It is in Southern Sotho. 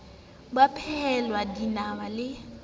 ba a phehelwa dinama le